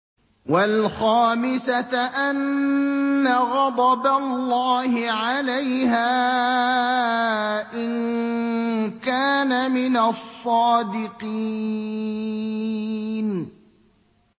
وَالْخَامِسَةَ أَنَّ غَضَبَ اللَّهِ عَلَيْهَا إِن كَانَ مِنَ الصَّادِقِينَ